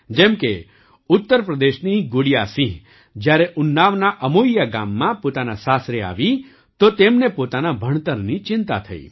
જેમ કે ઉત્તર પ્રદેશની ગુડિયાસિંહ જ્યારે ઉન્નાવના અમોઇયા ગામમાં પોતાના સાસરે આવી તો તેમને પોતાના ભણતરની ચિંતા થઈ